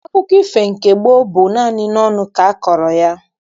Akụkọ ifo nke gboo bụ naanị n'ọnụ ka akọrọ ya.